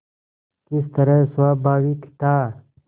किस तरह स्वाभाविक था